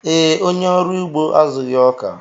Ee, onye ọrụ ugbo azụghị ọka